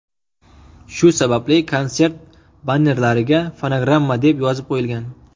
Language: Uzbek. Shu sababli konsert bannerlariga fonogramma deb yozib qo‘yilgan.